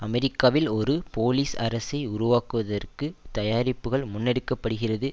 அமெரிக்காவில் ஒரு போலீஸ் அரசை உருவாக்குவதற்கு தயாரிப்புகள் முன்னெடுக்கப்படுகிறது